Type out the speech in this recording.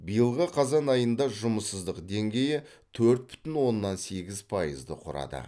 биылғы қазан айында жұмыссыздық деңгейі төрт бүтін оннан сегіз пайызды құрады